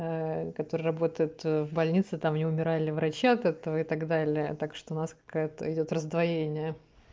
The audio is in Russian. который работает в больнице там не умирали врача от этого и так далее так что у нас какая-то идёт раздвоение